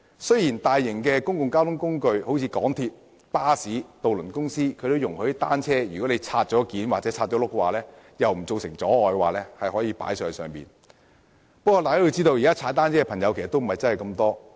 雖然較大型的公共交通工具如港鐵、巴士和渡輪容許市民把已妥善摺合或拆輪後的單車在不造成阻礙的情況下攜帶上車，但大家要知道，現時踏單車的朋友並不算太多。